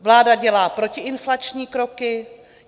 Vláda dělá protiinflační kroky.